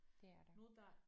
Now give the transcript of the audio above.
Det er der